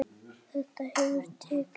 Þetta hefur tekið á.